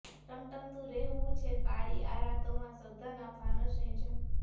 ટમટમતું રહેવું છે કાળી આ રાતોમાં શ્રધ્ધાના ફાનસની જેમ